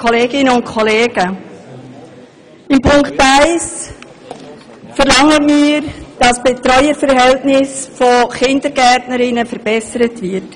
In Punkt 1 verlangen wir, dass die Betreuungsverhältnisse im Kindergarten verbessert werden.